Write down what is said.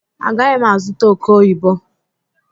Agaghị m azụta oke oyibo.